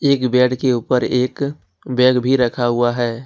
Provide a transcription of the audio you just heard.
एक बेड के ऊपर एक बैग भी रखा हुआ है।